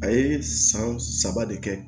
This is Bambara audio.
A ye san saba de kɛ